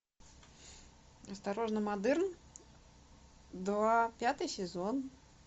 осторожно модерн два пятый сезон